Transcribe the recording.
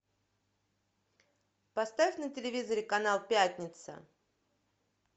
поставь на телевизоре канал пятница